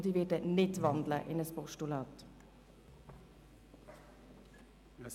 Ich werde nicht in ein Postulat wandeln.